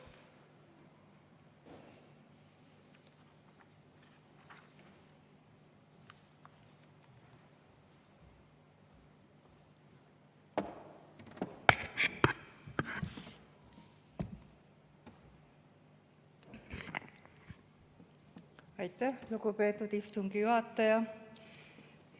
Aitäh, lugupeetud istungi juhataja!